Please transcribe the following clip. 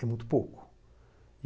É muito pouco.